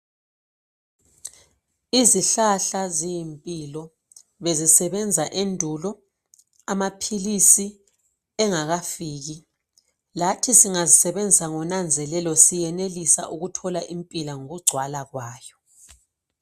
izihlahla ziyimpilo bezisebenza endulo amaphilisi engakafiki lathi singazisebenzisa ngonanzelelo siyanelisa ukuthola impilo ngokugcwala kwayo